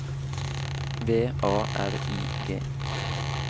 V A R I G